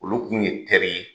Olu kun ye teri ye